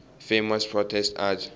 famous protest art